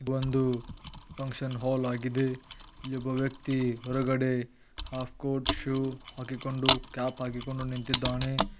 ಒಂದು function hall ಆಗಿದೆ ಇಲ್ಲಿ ಒಬ್ಬ ವ್ಯಕ್ತಿ ಹೊರಗಡೆ ಹಾಫ್ ಕೋರ್ಟ ಶೂ ಹಾಕಿಕೊಂಡು ಕ್ಯಾಪ್ ಹಾಕಿಕೊಂಡು ನಿಂತಿದ್ದಾನೆ.